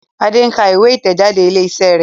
Ade nká ìwé itẹjade ilé iṣẹ rẹ.